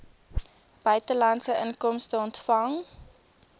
buitelandse inkomste ontvang